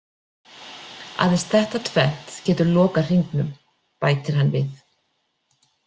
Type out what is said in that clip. Aðeins þetta tvennt getur lokað hringnum, bætir hann við.